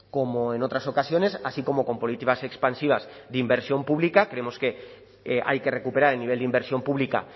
como en otras ocasiones así como con políticas expansivas de inversión pública creemos que hay que recuperar el nivel de inversión pública